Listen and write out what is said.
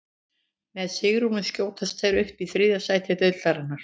Með sigrinum skjótast þeir upp í þriðja sæti deildarinnar.